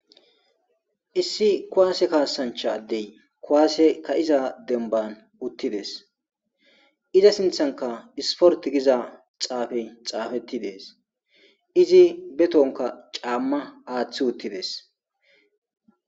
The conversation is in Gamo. ssi kuwaase kaasanchadey kuWase kaiza denban uttides iza sinthanka isporti giza xaafe xaafetti dees izi be tonka caamma aaththi uttides